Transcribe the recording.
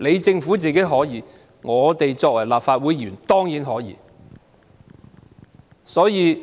政府可以，我們作為立法會議員當然也可以。